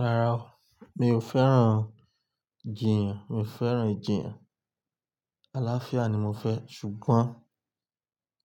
Rárá o, mi ò fẹ́ràn jiyàn, mi ò fẹ́ràn ìjiyàn. Àlàáfíà ni mo fẹ́ ṣùgbọ́n